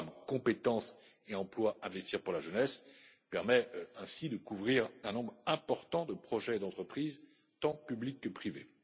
Le programme Compétences et emplois Investir pour la jeunesse permet ainsi de couvrir un nombre important de projets d'entreprise tant publics que privés.